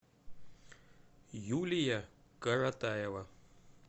юлия каратаева